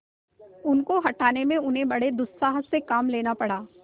उनके हटाने में उन्हें बड़े दुस्साहस से काम लेना पड़ा